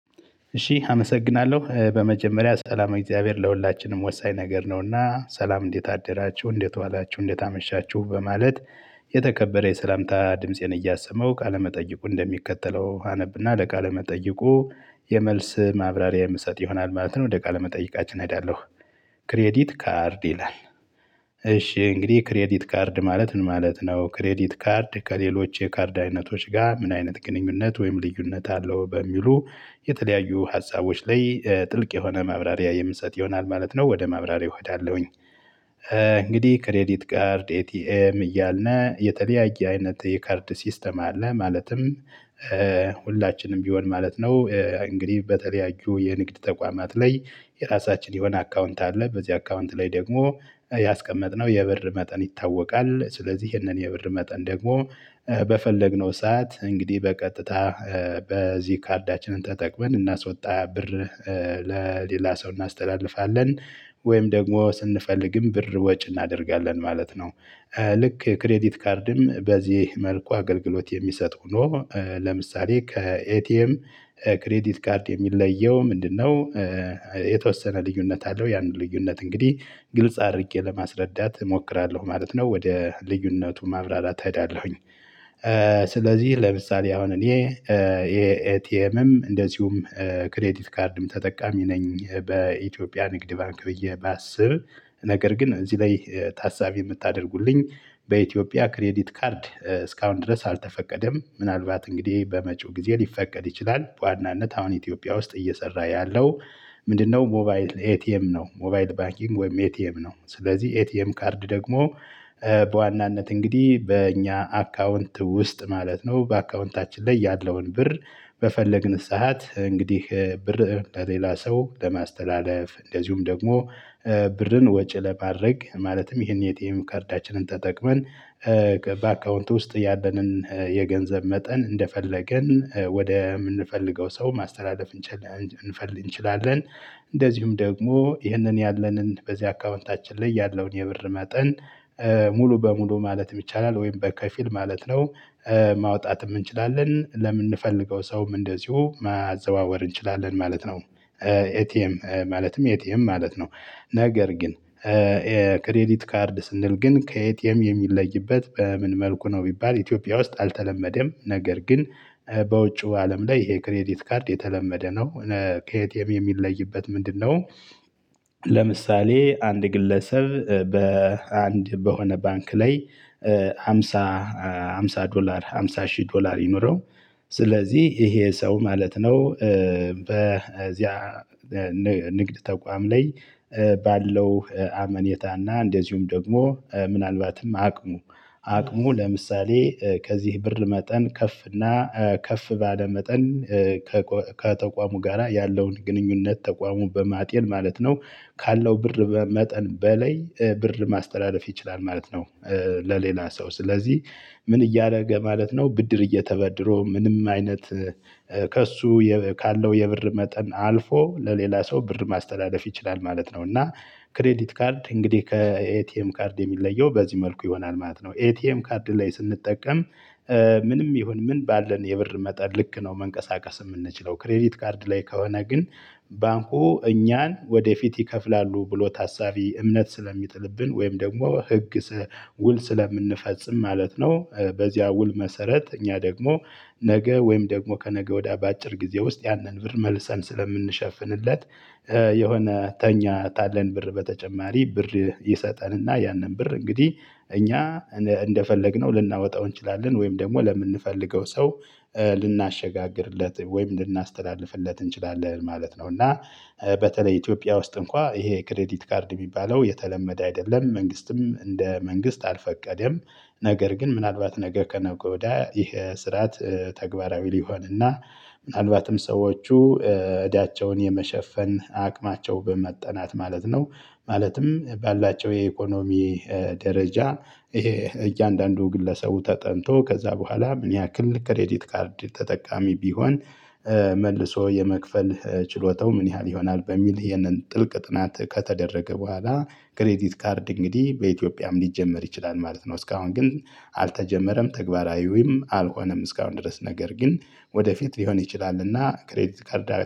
እሺ አመሰግናለሁ በመጀመሪያ ሰላመ እግዚአብሔር ለሁላችንም ወሳኝ ነገር ነው። እና ሰላም እንዴት አደራችሁ እንዴት ዋላችሁ እንዴት አመሻችሁ በማለት። የተከበረ የሰላምታ ድምፄን እያሰመሁ ቃለመጠይቁ እንደሚከተለው አነብና ለቃለ መጠየቁ የመልስ ማብራሪያ የምሰጥ ይሆናል ማለት ነው ወደ ቃለመጠየቃችን እሄዳለሁ። ክሬዲት ካርድ ይላል። እሺ እንግዲህ ክሬዲት ካርድ ማለት ምን ማለት ነው? ክሬዲት ካርድ ከሌሎች የካርድ አይነቶች ጋር ምን አይነት ግንኙነት ወይም ልዩነት አለው? በሚሉ የተለያዩ ሀሳቦች ላይ ጥልቅ የሆነ ማብራሪያ የምሰጥ ይሆናል ማለት ነው። ወደ ማብራሪያ እሄዳለሁኝ። እንግዲህ ክሬዲት ካርድ ኤቲኤም እያልነ የተለያየ አይነት የካርድ ሲስተም አለ። ማለትም ሁላችንም ቢሆን ማለት ነው። እንግዲህ በተለያዩ የንግድ ተቋማት ላይ የራሳችን የሆነ አካውንት አለ በዚህ አካውንት ላይ ደግሞ ያስቀመጥነው የብር መጠን ይታወቃል። ስለዚህ ይህንን የብር መጠን ደግሞ በፈለግነው ሰዓት እንግዲህ በቀጥታ በዚህ ካርዳችንን ተጠቅመን እናስወጣ ብር ለሌላ ሰው እናስተላልፋለን። ወይም ደግሞ ስንፈልግም ብር ወጪ እናደርጋለን ማለት ነው። ልክ ክሬዲት ካርድም በዚህ መልኩ አገልግሎት የሚሰጥ ሆኖ ለምሳሌ ከኤቲኤም ክሬዲት ካርድ የሚለየው ምንድነው? የተወሰነ ልዩነት አለው ያንን ልዩነት እንግዲህ ግልጽ አድርጌ ለማስረዳት እሞክራለሁ ማለት ነው። ወደ ልዩነቱ ማብራራት እሄዳለሁኝ። ስለዚህ ለምሳሌ አሁን እኔ የኤቲኤምም እንደዚሁም ክሬዲት ካርድም ተጠቃሚ ነኝ። በኢትዮጵያ ንግድ ባንክ ብዬ ባስብ ነገር ግን እዚህ ላይ ታሳቢ የምታደርጉልኝ በኢትዮጵያ ክሬዲት ካርድ እስካሁን ድረስ አልተፈቀደም ምናልባት እንግዲህ በመጪው ጊዜ ሊፈቀድ ይችላል። በዋናነት አሁን ኢትዮጵያ ውስጥ እየሰራ ያለው። ምንድነው? ሞባይል ኤቲኤም ነው። ሞባይል ባኪንግ ወይም ኤቲኤም ነው። ስለዚህ ኤቲኤም ካርድ ደግሞ በዋናነት እንግዲህ በእኛ አካውንት ውስጥ ማለት ነው። በአካውንታችን ላይ ያለውን ብር በፈለግን ሰዓት እንግዲህ ብር ለሌላ ሰው ለማስተላለፍ እንደዚሁም ደግሞ ብርን ወጪ ለማድረግ ማለትም ይሄን የኤቲኤም ካርዳችንን ተጠቅመን በአካውንት ውስጥ ያለንን የገንዘብ መጠን እንደፈለገን ወደ የምንፈልገው ሰው ማስተላለፍ እንችል። እንችላለን። እንደዚሁም ደግሞ ይህንን ያለንን በዚህ አካውንታችን ላይ ያለውን የብር መጠን ሙሉ በሙሉ ማለት ይቻላል ወይም በከፊል ማለት ነው። ማውጣት እንችላለን ለምንፈልገው ሰውም እንደዚሁ ማዘዋወር እንችላለን ማለት ነው። ኤቲኤም ማለትም ኤቲኤም ማለት ነው። ነገር ግን ክሬዲት ካርድ ስንል ግን ከ ኤቲኤም የሚለይበት በምን መልኩ ነው? ቢባል ኢትዮጵያ ውስጥ አልተለመደም ነገር ግን በውጪው አለም ላይ ይሄ ክሬዲት ካርድ የተለመደ ነው። ከ ኤቲኤም የሚለይበት ምንድነው? ለምሳሌ አንድ ግለሰብ በአንድ በሆነ ባንክ ላይ ሃምሳ ሃምሳ ዶላር 50 ሺህ ዶላር ይኖረው። ስለዚህ ይሄ ሰው ማለት ነው። በዚያ ንግድ ተቋም ላይ ባለው አመኔታና እንደዚሁም ደግሞ ምናልባትም አቅሙ አቅሙ ለምሳሌ ከዚህ ብር መጠን ከፍ እና ከፍ ባለ መጠን ከተቋሙ ጋራ ያለውን ግንኙነት ተቋሙ በማጤን ማለት ነው። ካለው ብር መጠን በላይ ብር ማስተላለፍ ይችላል ማለት ነው። ለሌላ ሰው ስለዚህ ምን እያደረገ ማለት ነው? ብድር እየተበድሮ ምንም አይነት ከእሱ ካለው የብር መጠን አልፎ ለሌላ ሰው ብር ማስተላለፍ ይችላል ማለት ነው። እና ክሬዲት ካርድ እንግዲህ ከኤቲኤም ካርድ የሚለየው በዚህ መልኩ ይሆናል ማለት ነው። ኤቲኤም ካርድ ላይ ስንጠቀም ምንም ይሁን ምን ባለን የብር መጠን ልክ ነው። መንቀሳቀስ የምንችለው ክሬዲት ካርድ ላይ ከሆነ ግን ባንኩ እኛን ወደፊት ይከፍላሉ ብሎ ታሳቢ እምነት ስለሚጥልብን ወይም ደግሞ ህግ ውል ስለምንፈጽም ማለት ነው። በዚያ ውል መሰረት እኛ ደግሞ ነገ ወይም ደግሞ ከነገ ወዳ በአጭር ጊዜ ውስጥ ያንን ብር መልሰን ስለምንሸፍንለት የሆነ ተኛታለን ብር በተጨማሪ ብር ይሰጠንና ያንን ብር እንግዲህ እኛ እንደፈለግነው ልናወጣው እንችላለን ወይም ደግሞ ለምንፈልገው ሰው ልናሸጋግርለት ወይም ልናስተላልፍለት እንችላለን ማለት ነው። እና በተለይ ኢትዮጵያ ውስጥ እንኳን ይሄ ክሬዲት ካርድ የሚባለው የተለመደ አይደለም መንግስትም እንደ መንግስት አልፈቀደም። ነገር ግን ምናልባት ነገ ከ ነገ ወዳ ይሄ ስርዓት ተግባራዊ ሊሆን እና ምናልባትም ሰዎቹ እዳቸውን የመሸፈን አቅማቸው በመጠናት ማለት ነው። ማለትም ባላቸው የኢኮኖሚ ደረጃ እያንዳንዱ ግለሰቡ ተጠንቶ ከዛ በኋላ ምን ያክል ከሬዲት ካርድ ተጠቃሚ ቢሆን መልሶ የመክፈል ችሎታው ምን ያህል ይሆናል? በሚል ይህንን ጥልቅ ጥናት ከተደረገ በኋላ ክሬዲት ካርድ እንግዲህ በኢትዮጵያም ሊጀመር ይችላል ማለት ነው። እስካሁን ግን አልተጀመረም ተግባራዊውም አልሆነም። እስካሁን ድረስ ነገር ግን ወደፊት ሊሆን ይችላልና ክሬዲት ካርዳ